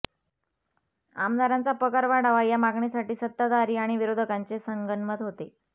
आमदारांचा पगार वाढावा या मागणीवर सत्ताधारी आणि विरोधकांचे संगनमत होते